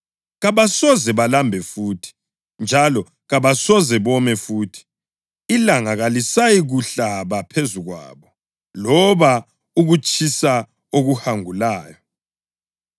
‘Kabasoze balambe futhi; njalo kabasoze bome futhi. Ilanga kalisayikuhlaba phezu kwabo’ + 7.16 U-Isaya 49.10 loba ukutshisa okuhangulayo.